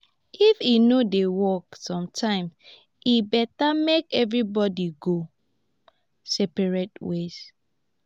if e no dey work sometimes e better make everybody go separate ways.